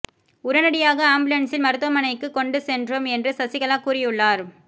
உடனடியாக ஆம்புலன்ஸில் மருத்துவமனைக்கு கொண்டு சென்றோம் என்று சசிகலா கூறியுள்ளார்